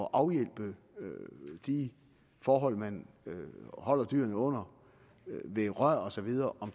at afhjælpe de forhold man holder dyrene under ved rør og så videre